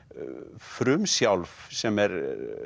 frumsjálf sem er